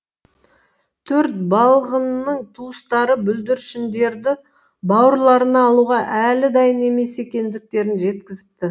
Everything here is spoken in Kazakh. төрт балғынның туыстары бүлдіршіндерді бауырларына алуға әлі дайын емес екендіктерін жеткізіпті